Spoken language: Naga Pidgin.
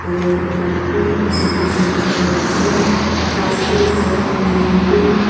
yatae gari bi kishim kishim alak alak ase ghas bi ase manu khan bi.